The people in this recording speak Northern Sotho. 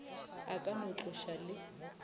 a ka no tloša le